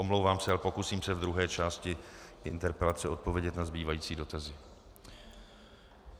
Omlouvám se, ale pokusím se v druhé části interpelace odpovědět na zbývající dotazy.